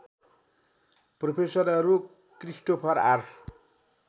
प्रोफेसरहरू Christopher are